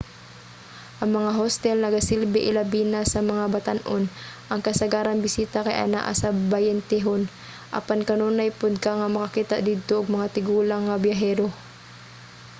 ang mga hostel nagasilbi ilabina sa mga batan-on – ang kasagarang bisita kay anaa sa bayentehon – apan kanunay pod ka nga makakita didto og mga tigulang nga biyahero